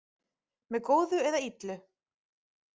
Með góðu eða illu.